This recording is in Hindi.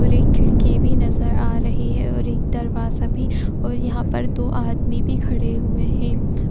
और एक खिड़की भी नजर आ रही है और एक दरवाजा भी और यहाँ पर दो आदमी भी खड़े हुए हैं।